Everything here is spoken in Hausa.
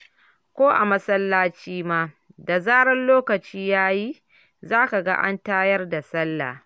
Ko a masallaci ma, da zarar lokaci ya yi, za ka ga an tayar da salla.